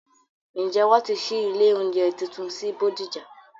Ǹjẹ́ wọ́n ti ṣí ilé oúnjẹ tuntun sí bódìjà?